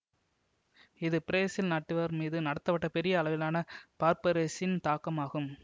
இது பிரேசில் நாட்டவர் மீது நடத்தப்பட்ட பெரிய அளவிலான பார்ப்பரசின் தாக்கம் ஆகும்